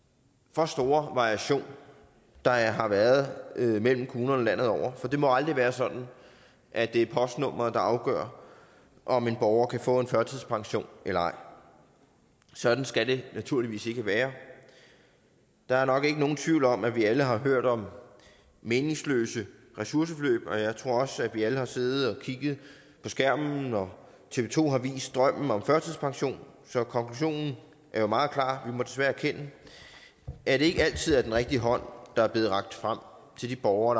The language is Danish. for store variation der har været mellem kommunerne landet over for det må jo aldrig være sådan at det er postnummeret der afgør om en borger kan få en førtidspension eller ej sådan skal det naturligvis ikke være der er nok ikke nogen tvivl om at vi alle har hørt om meningsløse ressourceforløb og jeg tror også at vi alle har siddet og kigget på skærmen når tv to har vist drømmen om førtidspension så konklusionen er jo meget klar vi må desværre erkende at det ikke altid er den rigtige hånd der er blevet rakt frem til de borgere